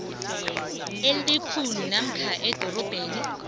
elikhulu namkha idorobha